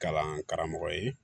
Kalan karamɔgɔ ye